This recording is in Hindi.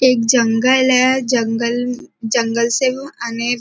एक जंगल है जंगल जंगल से अने --